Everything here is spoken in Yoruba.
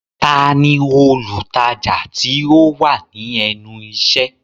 Ta ni olùtajà tí ó wà ní ẹnu iṣẹ́?